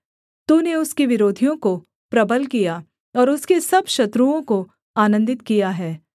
तूने उसके विरोधियों को प्रबल किया और उसके सब शत्रुओं को आनन्दित किया है